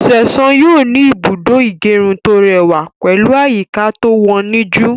Ṣẹ̀san yóò ní Ìbùdó ìgẹrun tó rẹwà pẹ̀lú àyíká to woníjú